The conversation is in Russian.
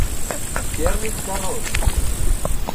первый король